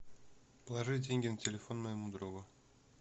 положить деньги на телефон моему другу